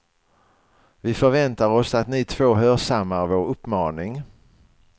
Vi förväntar oss att ni två hörsammar vår uppmaning.